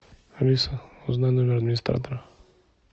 алиса узнай номер администратора